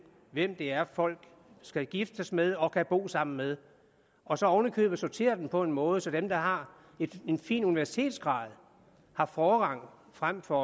hvem det er folk skal giftes med og kan bo sammen med og så oven i købet sortere dem på en måde så dem der har en fin universitetsgrad har forrang frem for